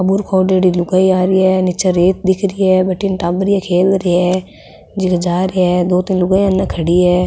बुरखो ओडेडी लुगाई आ रही है नीच रेत दिख री है बठन टाबर खेल रिया है जा रिया है दो तीन लुगाया अन खड़ी है।